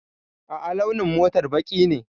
A'a, launin motar baƙi ne.